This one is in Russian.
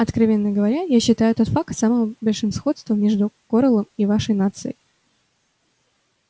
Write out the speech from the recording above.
откровенно говоря я считаю этот факт самым большим сходством между корелом и вашей нацией